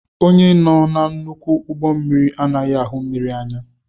Onye nọ na nnukwu ụgbọ mmiri anaghị ahụ mmiri anya